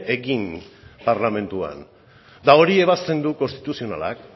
egin parlamentuan eta hori ebazten du konstituzionalak